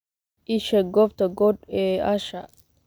ii sheeg goobta code ee asha